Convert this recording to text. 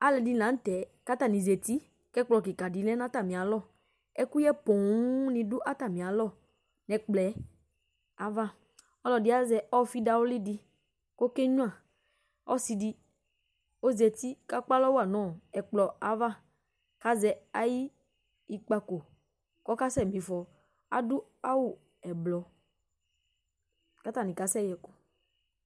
Aluɛdini dini la nu tɛ katani zati ku ɛkplɔ kika di lɛ nu atamialɔ ɛkuyɛ poo ni du atamialɔ nu ɛkplɔ yɛ ayava ɔfi ɔlɔdi azɛ ofi dawli di ku okenyua ɔsidi ɔzati ku ekpalɔ wa nu ɛkplɔ ava azɛ ayu ikpako kasɛ difɔ adu awu ublu katani kasɛ yɛku